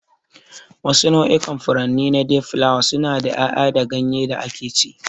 Wasu nau'ikan furanni na dayflower suna da yaya da ganye da akeci.